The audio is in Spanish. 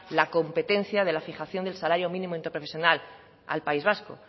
la competencia de la fijación de salario mínimo interprofesional al país vasco